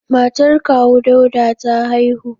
Matar kawu Dauda ta haihu.